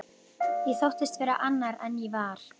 Ég þóttist vera annar en ég var.